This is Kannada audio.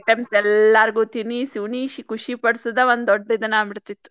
Items ಎಲ್ಲರ್ಗ್ ತಿನಿಸಿ ಉಣಿಸಿ ಖುಷಿ ಪಡ್ಸುದ ಒಂದ್ ದೊಡ್ಡ್ ಇದನಾಗಿಬಿಡ್ತಿತ್ತ್.